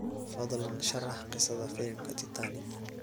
fadlan sharax qisada filimka titanic